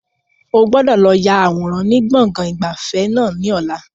O gbọ́dọ̀ lọ ya àwòrán ni gbọ̀ngàn ìgbafẹ́ náà ni ọ̀la!